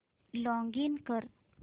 login कर